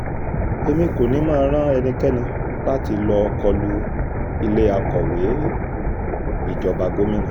èmi kò ní mọ̀ rán ẹnikẹ́ni láti lọ́ọ́ kọ lu ilé akọ̀wé ìjọba gómìnà